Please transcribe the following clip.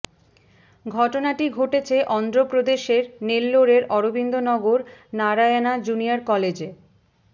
ঘটনাটি ঘটেছে অন্ধ্রপ্রদেশের নেল্লোরের অরবিন্দনগর নারায়ণা জুনিয়র কলেজে